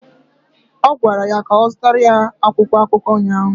Ọ gwara ya ka ọ zụtara ya akwụkwọ akụkọ ụnyaahụ!